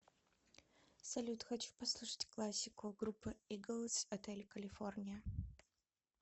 салют хочу послушать классику группа иглз отель калифорния